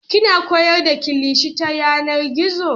Kina koyar da kilishi ta yanar gizo?